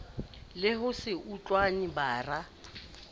le ho se utlwane bara